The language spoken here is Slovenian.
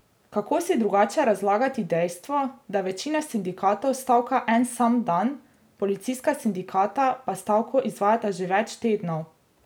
Kako si drugače razlagati dejstvo, da večina sindikatov stavka en sam dan, policijska sindikata pa stavko izvajata že več tednov?